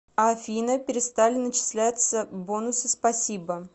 афина перестали начислятся бонусы спасибо